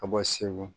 Ka bɔ segu